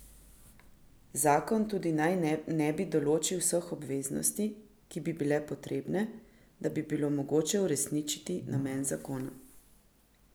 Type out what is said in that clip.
Zakon tudi naj ne bi določil vseh obveznosti, ki bi bile potrebne, da bi bilo mogoče uresničiti namen zakona.